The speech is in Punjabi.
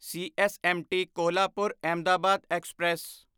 CSMT Kolhapur Ahmedabad express